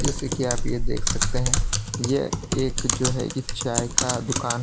जैसे कि आप ये देख सकते हैं यह एक जो है कि चाय का दुकान है।